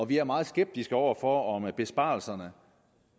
vi er meget skeptiske over for om besparelserne